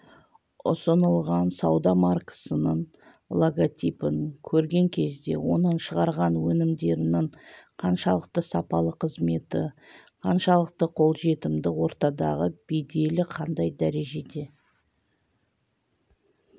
ұсынылған сауда маркасының логотипін көрген кезде оның шығарған өнімдерінің қаншалықты сапалы қызметі қаншалықты қолжетімді ортадағы беделі қандай дәрежеде